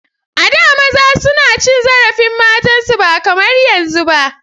A da maza suna cin zarafin matan su ba kamar yanzun ba.